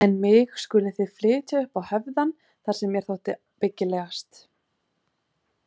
En mig skuluð þið flytja upp á höfðann þar sem mér þótti byggilegast.